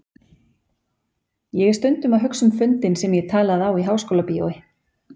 Ég er stundum að hugsa um fundinn sem ég talaði á í Háskólabíói.